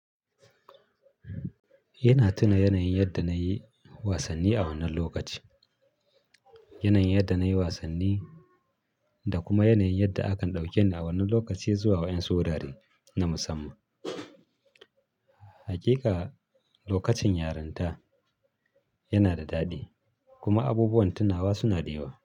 Yana tuna yanayin yadda na yi wasanni a wannan lokaci, yanayin yadda na yi wasanni da kuma yanayin yadda akan ɗauke ni a wannan lokaci zuwa wayan'su wurare na musamman. Hakika lokacin yarinta yana da daɗi kuma abubuwan tunawa suna da yawa.